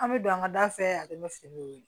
An bɛ don an ka da fɛ a bɛ finiw wele